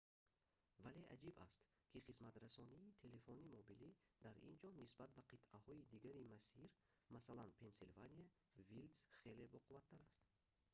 вале аҷиб аст ки хизматрасонии телефони мобилӣ дар ин ҷо нисбат ба қитъаҳои дигари масир масалан пенсилвания вилдс хеле боқувваттар аст